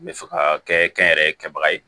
N bɛ fɛ ka kɛ kɛnyɛrɛye kɛbaga ye